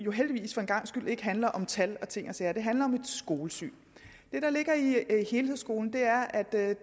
heldigvis for en gangs skyld ikke handler om tal og ting og sager det handler om et skolesyn det der ligger i helhedsskolen er at